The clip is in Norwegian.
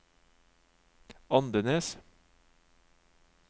Andenes